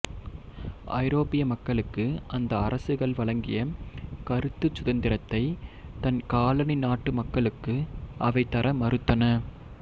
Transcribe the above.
ஐரோப்பிய மக்களுக்கு அந்த அரசுகள் வழங்கிய கருத்துச் சுதந்திரத்தை தன் காலனி நாட்டு மக்களுக்கு அவை தர மறுத்தன